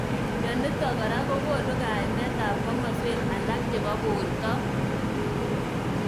Mnenitok kora kokonu kaimet ab kimoswek alak chebo borwek.